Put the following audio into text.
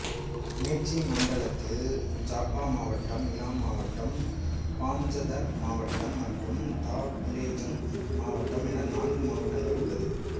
match மண்டலத்தில் ஜாப்பா மாவட்டம் இலாம் மாவட்டம் பாஞ்சதர் மாவட்டம் மற்றும் தாப்லேஜுங் மாவட்டம் என நான்கு மாவட்டங்கள் உள்ளது